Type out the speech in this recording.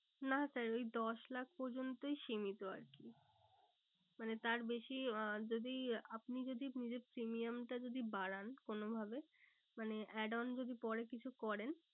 না sir ওই দশ লাখ পর্যন্তই সীমিত আর কি মানে তার বেশি আহ যদি আপনি যদি নিজের premium টা যদি বাড়ান কোনো ভাবে মানে add on যদি পরে কিছু করেন